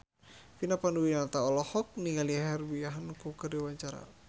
Vina Panduwinata olohok ningali Herbie Hancock keur diwawancara